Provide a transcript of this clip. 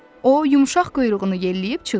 O yumşaq quyruğunu yelləyib çığırdırdı.